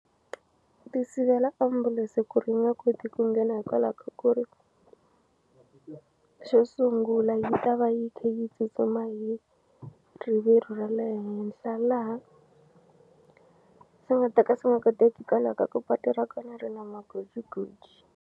Ti sivela ambulense ku ri yi nga koti ku nghena hikwalaho ka ku ri xo sungula yi ta va yi kha yi tsutsuma hi rivilo ra le henhla laha swi nga ta ka swi nga koteki hikwalaho ka ku patu ra kona ri na magojigoji.